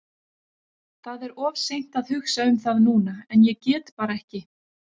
Það er of seint að hugsa um það núna en ég get bara ekki.